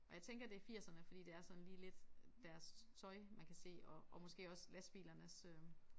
Og jeg tænker det firserne fordi det er sådan lige lidt deres tøj man kan se og og måske også lastbilernes øh